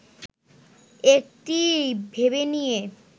একটি ভেবে নিয়ে